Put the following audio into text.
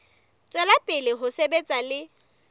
tswela pele ho sebetsa le